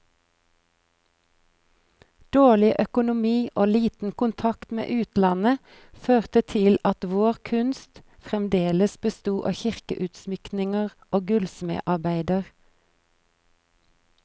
Dårlig økonomi og liten kontakt med utlandet, førte til at vår kunst fremdeles besto av kirkeutsmykninger og gullsmedarbeider.